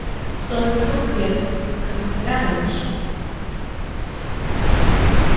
сон их был крепок как и никогда раньше